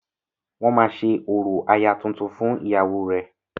Wọ́n máa ṣe orò aya tuntun fún ìyàwó rẹ..